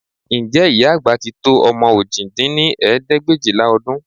Ǹjẹ́ ìyá àgbà tí tó ọmọ òjì dín ní ẹgbẹ̀éjìlá ọdún